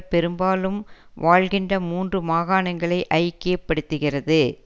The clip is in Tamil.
பெரும்பாலும் வாழ்கின்ற மூன்று மாகாணங்களை ஐக்கியப்படுத்துகிறது